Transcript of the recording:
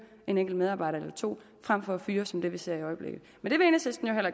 en enkelt medarbejder eller to frem for at fyre som vi ser i øjeblikket